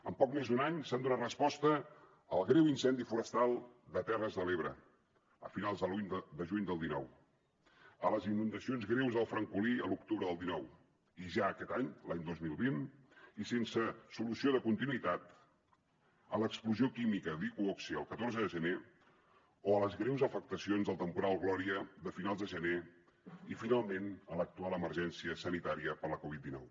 en poc més d’un any s’ha donat resposta al greu incendi forestal de terres de l’ebre a finals de juny del dinou a les inundacions greus del francolí a l’octubre del dinou i ja aquest any l’any dos mil vint i sense solució de continuïtat a l’explosió química d’iqoxe el catorze de gener o a les greus afectacions del temporal gloria de finals de gener i finalment a l’actual emergència sanitària per la covid dinou